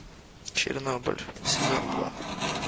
чернобыль сезон два